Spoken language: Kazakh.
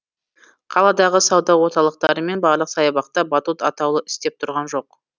қаладағы сауда орталықтары мен барлық саябақта батут атаулы істеп тұрған жоқ